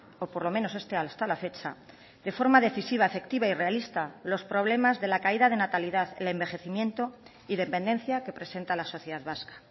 o por lo menos este hasta la fecha de forma decisiva efectiva y realista los problemas de la caída de natalidad el envejecimiento y dependencia que presenta la sociedad vasca